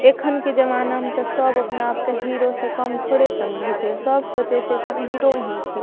एखन के जमाना म तअ सब अपने आप क हीरो से कम थोड़े समझे छे सब सोचे छे हीरो ही छीय।